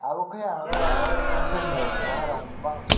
obo ke ang oro royal enfield ni cherai rong bang.